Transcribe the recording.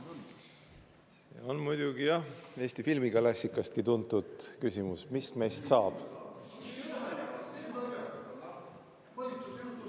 See on muidugi, jah, Eesti filmiklassikastki tuntud küsimus: mis meist saab?